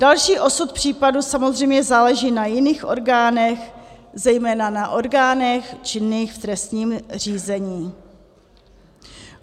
Další osud případu samozřejmě záleží na jiných orgánech, zejména na orgánech činných v trestním řízení.